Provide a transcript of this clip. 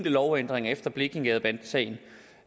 lovændringer efter blekingegadesagen